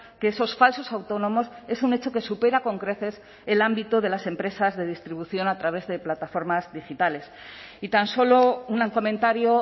que esos falsos autónomos es un hecho que supera con creces el ámbito de las empresas de distribución a través de plataformas digitales y tan solo un comentario